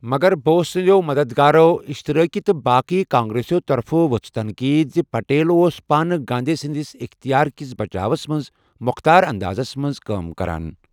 مگر بوس سنٛدٮ۪و مَدَدگارو، اِشتِرٲکی تہٕ باقی کانگریسو طرفہٕ وۄژھ تنقید زِ پٹیل اوس پانہٕ گاندھی سنٛدس اِختِیار کِس بچاوس منٛز مۄختار اندازس منٛز کٲم کران۔